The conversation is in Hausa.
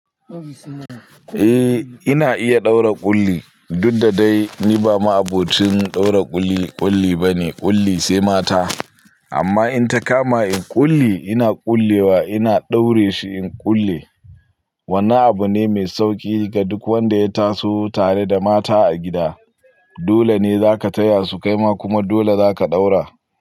Eh ina iya ɗaura ƙulli, duk da dai ni ba ma abokin ɗaura ƙulli ƙulli bane, ƙulli sai mata. Amma in ta kama in ƙulli ina ƙullewa ina daure shi in ƙulle. Wannan abu ne mai sauƙi ga duk wanda ya taso tare da mata a gida. Dole ne za ka taya su kaima kuma dole za ka ɗaura.